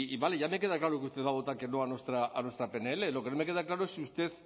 vale ya me queda claro que usted va a votar que no a nuestra pnl lo que no me queda claro es si usted